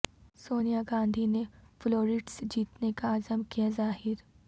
سونیا گاندھی نے floor test جیتنے کا عزم کیا ظاہر